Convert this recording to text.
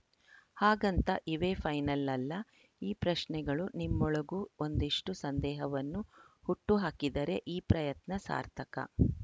ಹಾಗಂತ ಇವೇ ಫೈನಲ್‌ ಅಲ್ಲ ಈ ಪ್ರಶ್ನೆಗಳು ನಿಮ್ಮೊಳಗೂ ಒಂದಿಷ್ಟು ಸಂದೇಹವನ್ನು ಹುಟ್ಟುಹಾಕಿದರೆ ಈ ಪ್ರಯತ್ನ ಸಾರ್ಥಕ